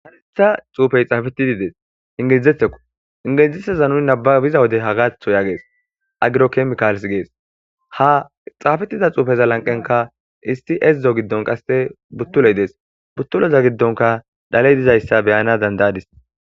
haritha xuufey xaafetididees ingilzetheko ingilizeteza nuni nababiza wode hagaatho yaagees agiro kemkaals gees ha xaafetiza xuufeza lanqenka isti ezdzo giddon qaste buttuley dees buttuleza giddonka daley dizayssa beyana dandayadis